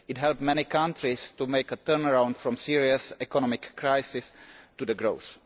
It has helped many countries to make a turnaround from serious economic crisis to growth.